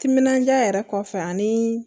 Timinandiya yɛrɛ kɔfɛ anii